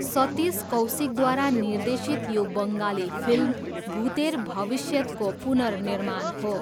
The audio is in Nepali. सतीश कौशिकद्वारा निर्देशित यो बङ्गाली फिल्म भुतेर भबिष्यतको पुनर्निर्माण हो।